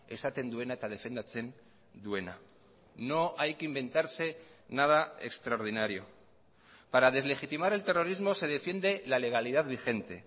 esaten duena eta defendatzen duena no hay que inventarse nada extraordinario para deslegitimar el terrorismo se defiende la legalidad vigente